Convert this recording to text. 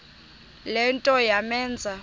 le nto yamenza